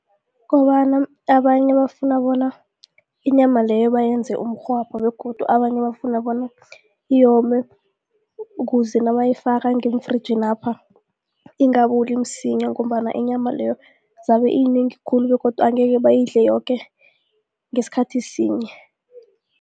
Ukobana abanye bafuna bona inyama leyo bayenze umrhwabha begodu abanye bafuna bona iyome ukuze nabayifake ngeemfrijinapha ingaboli msinya ngombana inyama leyo zabe iyinengi khulu begodu angeke bayidle yoke ngesikhathi sinye.